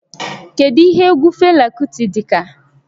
Kedu ihe egwu Fela Kuti dị ka?